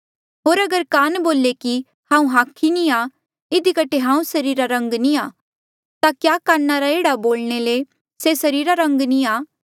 होर अगर कान बोले कि हांऊँ हाखी नी आ इधी कठे हांऊँ सरीरा रा अंग नी आ ता क्या कान रा एह्ड़ा बोलणे ले से सरीरा रा अंग नी आ